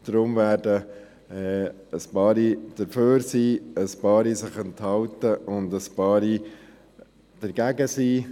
Deshalb werden einige dafür sein, einige werden sich enthalten, und einige werden dagegen sein.